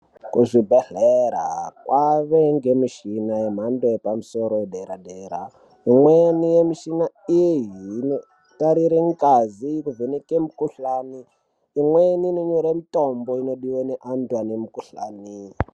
Kuzvibhedhlera kwave ngemichina yemhando yepamusoro yedera dera. Imweni yemishina iyi inotarire ngazi nekuvheneke mikhuhlani. Imweni inonyore mitombo inodiwe neantu ane mukhuhlani.